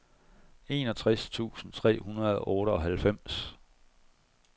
enogtres tusind tre hundrede og otteoghalvfems